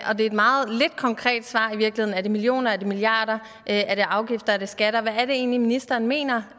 og det er et meget lidt konkret svar i virkeligheden er det millioner er det milliarder er det afgifter er det skatter hvad er det egentlig ministeren mener